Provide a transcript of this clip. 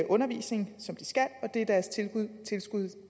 undervisning som de skal det er deres tilskud